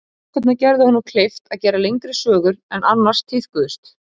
Bækurnar gerðu honum kleift að gera lengri sögur en annars tíðkuðust.